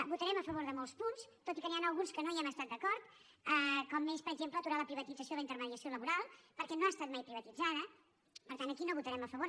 votarem a favor de molts punts tot i que n’hi ha alguns que no hi hem estat d’acord com és per exemple aturar la privatització i la intermediació laboral perquè no ha estat mai privatitzada per tant aquí no hi votarem a favor